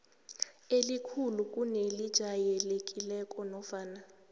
elikhulu kunelijayelekileko nofana